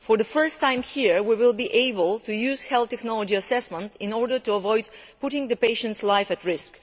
For the first time here, we will be able to use health technology assessment in order to avoid putting patients' lives at risk.